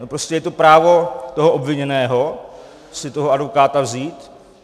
No, prostě je to právo toho obviněného si toho advokáta vzít.